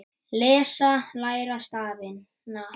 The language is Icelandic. Lesa- læra stafina